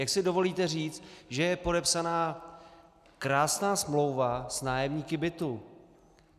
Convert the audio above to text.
Jak si dovolíte říct, že je podepsána krásná smlouva s nájemníky bytů?